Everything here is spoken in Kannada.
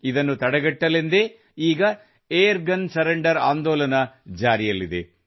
ಇದನ್ನು ತಡೆಗಟ್ಟಲೆಂದೇ ಈಗ ಏರ್ ಗನ್ ಸರೆಂಡರ್ ಆಂದೋಲನ ಜಾರಿಯಲ್ಲಿದೆ